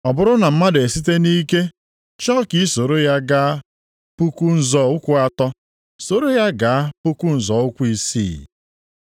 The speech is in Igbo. Ọ bụrụ na mmadụ esite nʼike chọọ ka i soro ya gaa puku nzọ ụkwụ atọ, soro ya gaa puku nzọ ụkwụ isii.